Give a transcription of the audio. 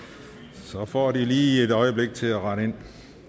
så får de lige et øjeblik til at rette